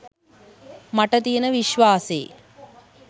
මට තියෙන විශ්වාසේ